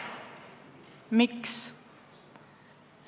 Miks?